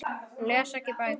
Hún les ekki bækur.